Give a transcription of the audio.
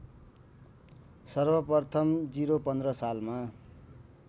सर्वप्रथम ०१५ सालमा